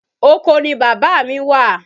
Oko ni bàbá mí wà.